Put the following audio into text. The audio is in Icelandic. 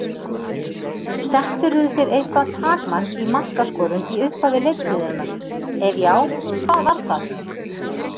Settirðu þér eitthvað takmark í markaskorun í upphafi leiktíðarinnar, ef já, hvað var það?